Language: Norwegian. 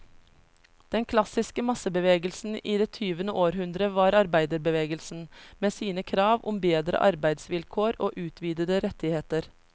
Den klassiske massebevegelsen i det tyvende århundre var arbeiderbevegelsen, med sine krav om bedre arbeidsvilkår og utvidede rettigheter.